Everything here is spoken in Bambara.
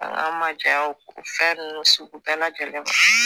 An k'an majanya o fɛn ninnu sugu bɛɛ lajɛlen ma